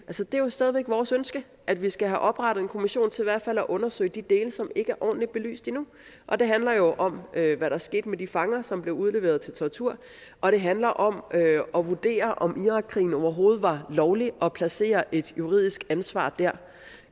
det er jo stadig væk vores ønske at vi skal have oprettet en kommission til i hvert fald at undersøge de dele som ikke er ordentligt belyst endnu og det handler jo om hvad der skete med de fanger som blev udleveret til tortur og det handler om at vurdere om irakkrigen overhovedet var lovlig og placeret et juridisk ansvar der